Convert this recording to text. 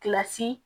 Kilasi